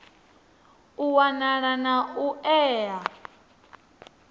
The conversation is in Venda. u wanala na u ea